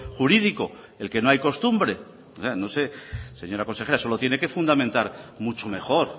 jurídico el que no hay costumbre o sea no sé señora consejera eso lo tiene que fundamentar mucho mejor